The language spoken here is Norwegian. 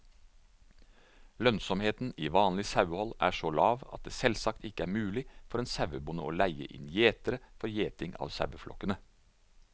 Lønnsomheten i vanlig sauehold er så lav at det selvsagt ikke er mulig for en sauebonde å leie inn gjetere for gjeting av saueflokkene.